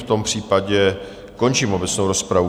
V tom případě končím obecnou rozpravu.